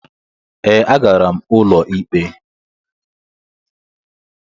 Ee, agara m ụlọ ikpe.